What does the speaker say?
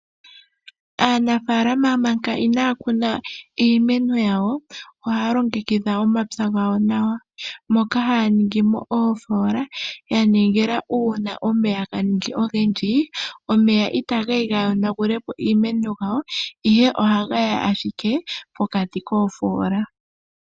Aanafaalama manga inaya kuna iimuna yawo ohaya longekidha omapya gawo nawa moka haya ningi mo oofola yaningila una omeya ganingi mo ogendji, omeya ita geya gayonagule po iimeno yawo ashike ohaga yi ashike pokati koofola.